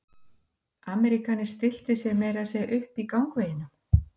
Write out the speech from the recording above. Ameríkaninn stillti sér meira að segja upp í gangveginum.